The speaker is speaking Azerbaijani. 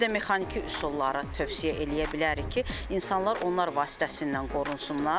Bir də mexaniki üsulları tövsiyə eləyə bilərik ki, insanlar onlar vasitəsilə qorunsunlar.